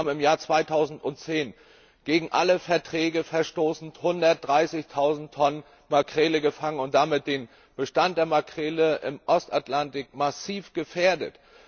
Island hat im Jahr 2010 gegen alle Verträge verstoßen, 130000Tonnen Makrele gefangen und damit den Bestand der Makrele im Ostatlantik massiv gefährdet.